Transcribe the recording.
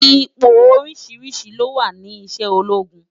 Ipó óriṣiriṣi ló wá ni iṣè ólógún